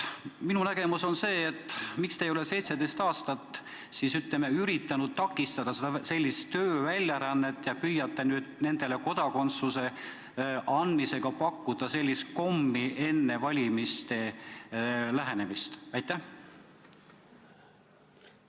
Minu küsimus on see, et miks te ei ole 17 aastat siis üritanud takistada sellist tööväljarännet ja püüate nüüd nendele kodakondsuse andmisega pakkuda enne valimiste lähenemist sellist kommi?